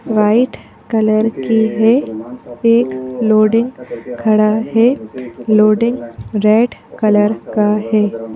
White colour की है एक लोडिंग खड़ा है लोडिंग रेड कलर का है।